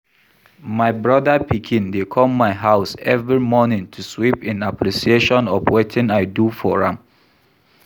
My brother pikin dey come my house every morning to sweep in appreciation of wetin I do for am